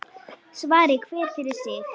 Svari hver fyrir sig.